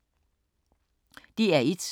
DR1